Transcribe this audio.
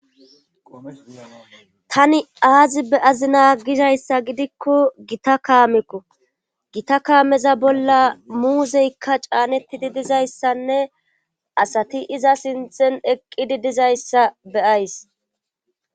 Tani aazi be7azina gizayssa gidikko gita kaameko gita kaameza bolla muuzykka caanettidi dizayssanne asati iza sinthen eqqidi dizayssa be7ays.